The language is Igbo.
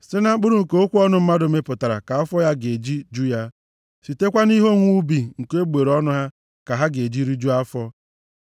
Site na mkpụrụ nke okwu ọnụ mmadụ mịpụtara ka afọ ga-eji ju ya. Sitekwa nʼihe owuwe ubi nke egbugbere ọnụ ha ka ha ga-eji rijuo afọ.